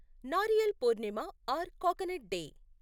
Nariyal Purnima or coconut day